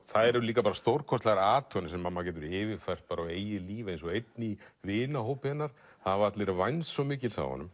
það eru líka bara stórkostlegar athuganir sem maður getur yfirfært á eigið líf eins og einn í vinahópi hennar það hafa allir vænst svo mikils af honum